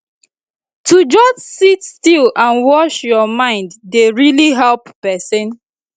to just sit still and watch your mind dey really help person